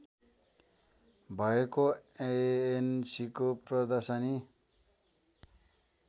भएको एएनसीको प्रदर्शनी